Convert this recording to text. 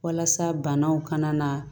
Walasa banaw ka na